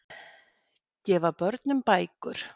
Gefa börnum bækur